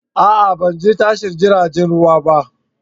A'a! Ban je tashar jiragen ruwa ba.